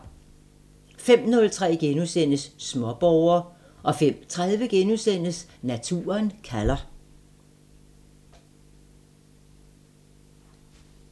05:03: Småborger * 05:30: Naturen kalder *